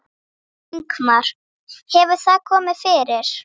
Ingimar: Hefur það komið fyrir?